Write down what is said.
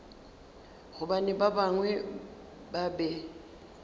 gobane ba bangwe ba be